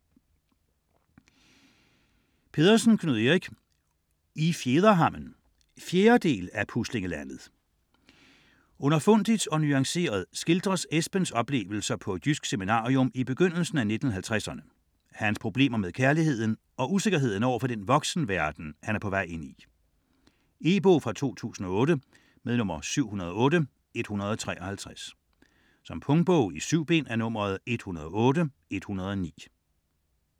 Pedersen, Knud Erik: I fjederhammen 4. del af Puslinglandet. Underfundigt og nuanceret skildres Esbens oplevelser på et jysk seminarium i begyndelsen af 1950'erne, hans problemer med kærligheden og usikkerheden overfor den voksenverden, som han er på vej ind i. E-bog 708153 2008. Punktbog 108109 2008. 7 bind.